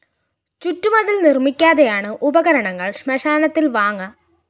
ചുറ്റുമതില്‍ നിര്‍മ്മിക്കാതെയാണ് ഉപകരണങ്ങള്‍ ശ്മശാനത്തില്‍ വാങ്ങ